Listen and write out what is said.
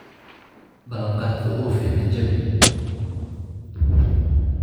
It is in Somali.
Ballanqaadka oofi, ha jabin.